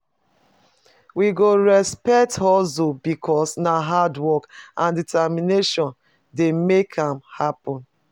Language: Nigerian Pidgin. We go respect hustle because na hardwork and determination dey make am happen.